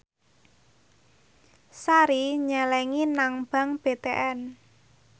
Sari nyelengi nang bank BTN